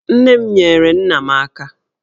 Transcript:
Nne m nyeere nna m aka.